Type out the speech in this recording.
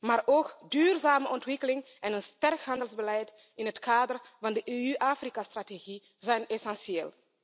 Maar ook duurzame ontwikkeling en een sterk handelsbeleid in het kader van de EU Afrika strategie zijn essentieel.